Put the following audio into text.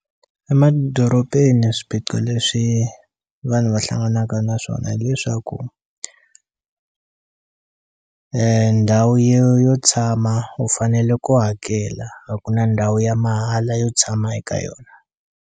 Emadorobeni swipiqo leswi vanhu va hlanganaka na swona hileswaku ndhawu yo yo tshama u fanele ku hakela a ku na ndhawu ya mahala yo tshama eka yona.